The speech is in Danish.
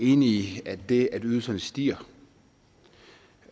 enig i at det at ydelserne stiger